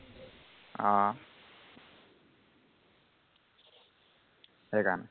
সেইকাৰণে